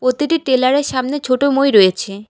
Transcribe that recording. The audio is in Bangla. প্রতিটি টেলার -এর সামনে ছোট মই রয়েছে।